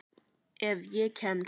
Ef ég kemst.